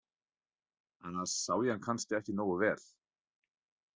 Annars sá ég hann kannski ekki nógu vel.